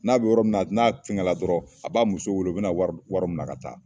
N'a bɛ yɔrɔ min na, n'a cugɛla dɔrɔn, a b'a muso wele. O bɛna na wari wari minɛ ka taa.